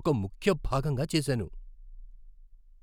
ఒక ముఖ్య భాగంగా చేసాను.